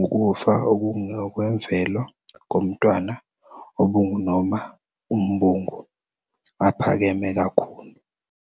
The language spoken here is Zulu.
ukufa okungokwemvelo komntwana obungu noma umbungu, aphakeme kakhulu.